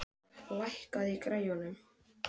Korka, lækkaðu í græjunum.